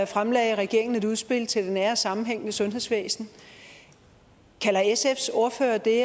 fremlagde regeringen et udspil til det nære sammenhængende sundhedsvæsen kalder sfs ordfører det